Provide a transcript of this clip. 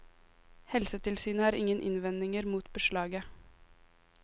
Helsetilsynet har ingen innvendinger mot beslaget.